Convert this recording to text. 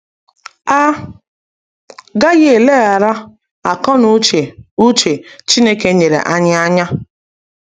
A gaghị eleghara akọ na uche uche Chineke nyere anyị anya.